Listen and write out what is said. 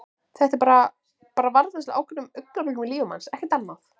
Þetta er bara. bara varðveisla á ákveðnu augnabliki í lífi manns, ekkert annað.